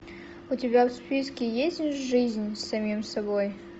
у тебя в списке есть жизнь с самим собой